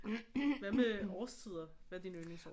Hvad med årstider hvad er din yndlingsårstid